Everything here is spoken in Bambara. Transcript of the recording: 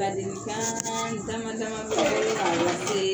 Ladilikan dama dama be yen ka lase